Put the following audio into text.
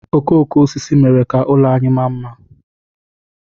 Okooko osisi mere ka ụlọ anyị maa mma.